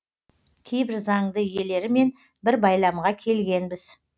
кейбір заңды иелерімен бір байламға келгенбіз